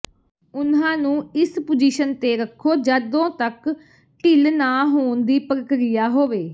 ਉਨ੍ਹਾਂ ਨੂੰ ਇਸ ਪੋਜੀਸ਼ਨ ਤੇ ਰੱਖੋ ਜਦੋਂ ਤੱਕ ਢਿੱਲ ਨਾ ਹੋਣ ਦੀ ਪ੍ਰਕ੍ਰਿਆ ਹੋਵੇ